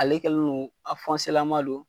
Ale kɛlen don, a fɔnselaman don